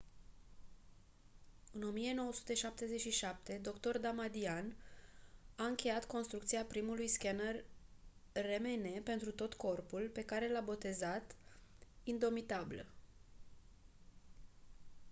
în 1977 dr damadian a încheiat construcția primului scaner rmn pentru tot corpul pe care l-a botezat indomitable